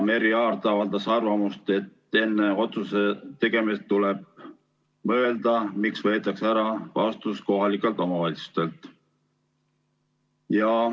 Merry Aart avaldas arvamust, et enne otsuse tegemist tuleb mõelda, miks võetakse ära vastutus kohalikelt omavalitsustelt.